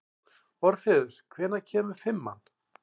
Orfeus, hvenær kemur fimman?